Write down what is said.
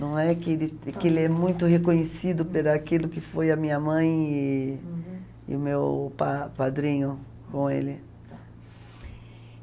Não é que ele que ele é muito reconhecido por aquilo que foi a minha mãe e o meu pa padrinho com ele. Tá.